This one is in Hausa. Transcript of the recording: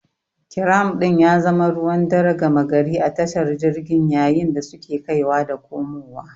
Kiram din ya zama ruwan dare gama gari a tashar jirgin yayin da suke kaiwa da komowa.